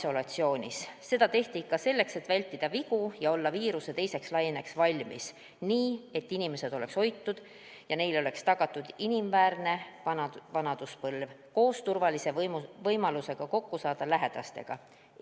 tehti selleks, et vältida vigu ja olla valmis viiruse teiseks laineks nii, et inimesed oleks hoitud ja neile oleks tagatud inimväärne vanaduspõlv koos turvalise võimalusega saada lähedastega kokku.